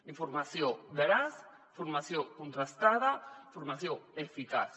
informació veraç informació contrastada informació eficaç